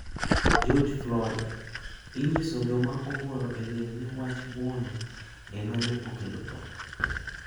George Floyd: Inyiso joma obuoro e liel ni wach buono ema ne okelo tho.